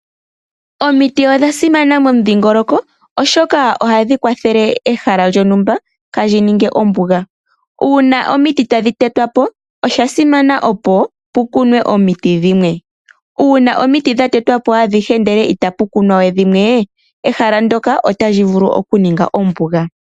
Omiti odha simana momudhingoloko oshoka ohadhi kwathele ehala lyontumba kaali ninge ombuga. Uuna omiti tadhi te twa po osha simana opo pu kunwe omiti dhimwe, uuna omiti dha te twa po adhihe ndele ita pu kunwa we dhimwe, ehala ndyoka otali vulu oku ninga ombuga.